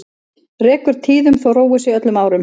Rekur tíðum þó róið sé öllum árum.